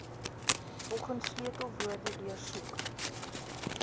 volgens sleutelwoorde deursoek